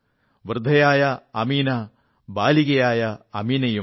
വൃദ്ധയായ അമീന ബാലികയായ അമീനയുമായി